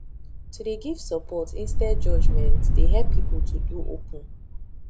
to dey give support instead judgement dey help people to dey open